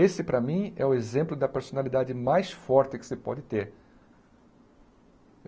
Esse, para mim, é o exemplo da personalidade mais forte que você pode ter.